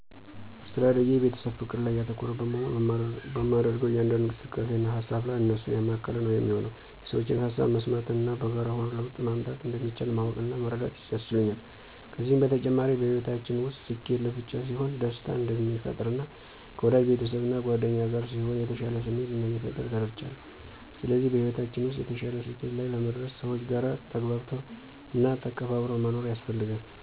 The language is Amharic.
አስተዳደጌ የቤተሰብ ፍቅር ላይ ያተኮረ በመሆኑ በማደርገው እያንዳንዱ እንቅስቃሴ እና ሃሳብ ላይ እነሱን ያማከለ ነው የሚሆነው። የሠዎችን ሃሳብ መስማት እና በጋራ ሆኖ ለውጥ ማምጣት እንደሚቻል ማወቅ እና መረዳት አስችሎኛል። ከዚም በተጨማሪ በሕይወታችን ውስጥ ስኬት ለብቻ ሲሆን ደስታ እንደማይፈጥር እና ከወዳጅ ቤተሰብ እና ጉአደኛ ጋር ሲሆን የተሻለ ስሜት እንደሚፈጥር ተረድቻለው። ስለዚህ በሕይወታችን ውስጥ የተሻለ ስኬት ላይ ለመድረስ ሰዎች ጋር ተግባብቶ እና ተከባብሮ መኖር ያስፈልጋል።